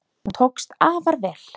Hún tókst afar vel.